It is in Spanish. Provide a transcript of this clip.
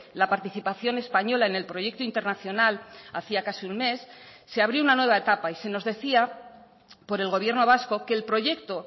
la participación española en el proyecto internacional hacía casi un mes se abrió una nueva etapa y se nos decía por el gobierno vasco que el proyecto